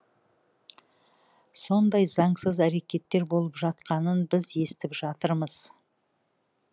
сондай заңсыз әрекеттер болып жатқанын біз естіп жатырмыз